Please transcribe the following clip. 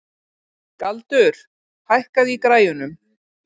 Galdur, hækkaðu í græjunum.